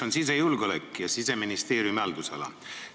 Küsin sisejulgeoleku ja Siseministeeriumi haldusala kohta.